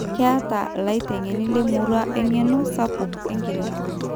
keeta illaitengeni le murrua eng`eno sapuk enkiremore